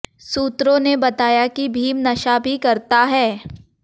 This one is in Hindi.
सूत्रों ने बताया कि भीम नशा भी करता है